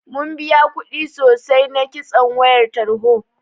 Mun biya kuɗi sosai na kitson wayar tarho.